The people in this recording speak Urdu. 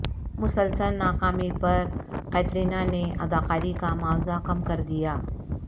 مسلسل ناکامی پر کترینہ نے اداکاری کامعاوضہ کم کردیا